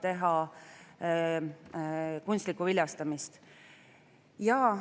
Tutvustan muudatusettepanekuid, mis esimese ja teise lugemise vahel on eelnõusse sisse viidud.